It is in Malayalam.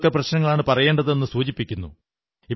ഏതൊക്കെ പ്രശ്നങ്ങളാണു പറയേണ്ടതെന്നു സൂചിപ്പിക്കുന്നു